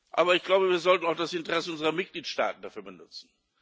Aber ich glaube, wir sollten auch das Interesse unserer Mitgliedstaaten dafür benutzen.